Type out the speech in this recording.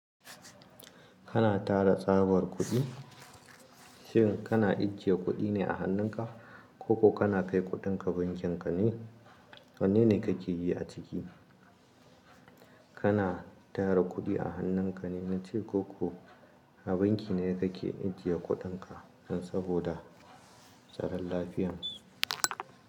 Kana tara tsabar kuɗi, shin kana ijjiye kuɗi ne a hannunka ko ko kana kai kuɗinka bankin ka ne? Wanne ne ka ke yi a ciki? Kana tara kuɗi a hannunka ne, na ce ko ko a banki ne ka ke ijjiye kuɗinka don saboda tsaron lafiyan su.